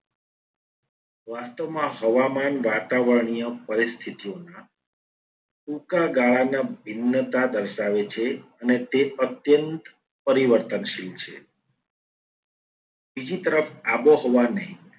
વાસ્તવમાં હવામાન વાતાવરણીય પરિસ્થિતિઓના ટૂંકા ગાળાના ભિન્નતા દર્શાવે છે. અને તે અત્યંત પરિવર્તનશીલ છે. બીજી તરફ આબોહવાને